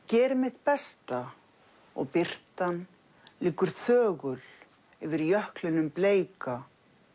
geri mitt besta og birtan liggur þögul yfir jöklinum bleika